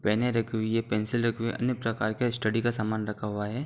पेनें रखी हुई हैं पेंसिल रखी हुई। अन्य प्रकार के स्टडी का समान रखा हुआ है।